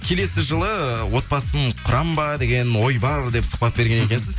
келесі жылы отбасын құрамын ба деген ой бар деп сұхбат берген екенсіз